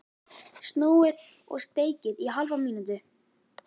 Snúið og steikið í hálfa mínútu.